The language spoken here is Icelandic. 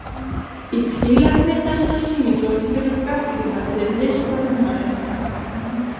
Í tilefni þessarar sýningar hefur gagnrýnandi listatímaritsins